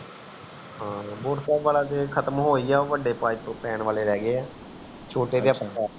ਹਨ ਬੜੇ ਪੈਣ ਵਾਲੇ ਰੇਹ ਗਏ ਹੈ ਛੋਟੇ